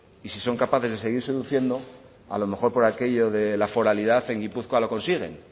y si son capaces de seguir seduciendo a lo mejor por aquello de la foralidad en gipuzkoa lo consiguen